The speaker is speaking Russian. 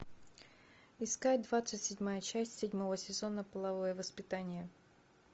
искать двадцать седьмая часть седьмого сезона половое воспитание